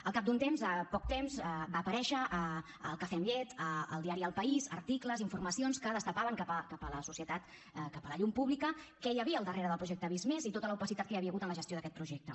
al cap d’un temps de poc de temps van aparèixer al cafè amb llet al diari el país articles informacions que destapaven cap a la societat cap a la llum pública què hi havia al darrere el projecte visc+ i tota l’opacitat que hi havia hagut en la gestió d’aquest projecte